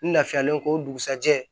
N lafiyalen ko dugusajɛ